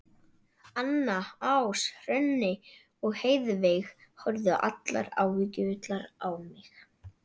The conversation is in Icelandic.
Anna, Ása, Hrönn og Heiðveig horfðu allar áhyggjufullar á mig.